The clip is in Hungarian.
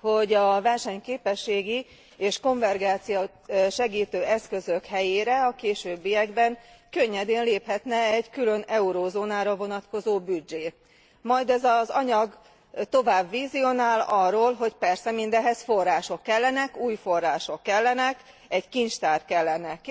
hogy a versenyképességi és konvergencia segítő eszközök helyére a későbbiekben könnyedén léphetne egy külön eurózónára vonatkozó büdzsé, majd ez az anyag tovább vizionál, arról, hogy persze mindehhez források kellenek, új források kellenek, egy kincstár kellene.